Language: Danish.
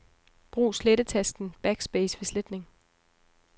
Brug slettetasten Backspace ved sletning.